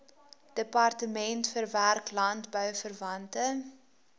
departement verwerk landbouverwante